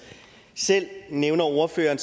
selv nævner ordføreren